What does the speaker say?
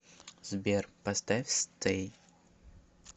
сбер поставь стэй